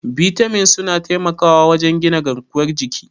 Bitamin suna taimakawa wajen gina garkuwar jiki.